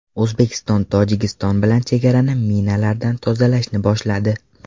O‘zbekiston Tojikiston bilan chegarani minalardan tozalashni boshladi.